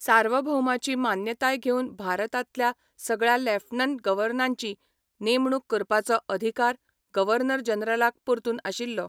सार्वभौमाची मान्यताय घेवन भारतांतल्या सगळ्या लेफ्टनंट गव्हर्नरांची नेमणूक करपाचो अधिकार गव्हर्नर जनरलाक परतून आशिल्लो.